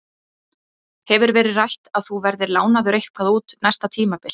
Hefur verið rætt að þú verðir lánaður eitthvað út næsta tímabil?